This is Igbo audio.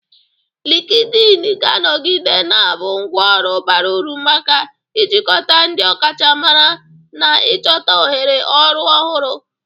Likidin ga-anọgide na-abụ ngwá ọrụ bara uru maka ijikọta ndị ọkachamara na ịchọta ohere ọrụ ọhụrụ.